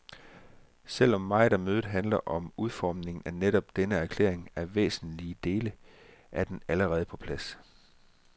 Selv om meget af mødet handler om udformningen af netop denne erklæring, er væsentlige dele af den allerede på plads.